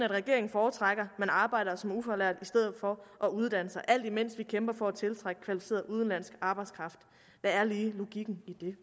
regeringen foretrækker at man arbejder som ufaglært i stedet for at uddanne sig alt imens vi kæmper for at tiltrække kvalificeret udenlandsk arbejdskraft hvad er logikken i det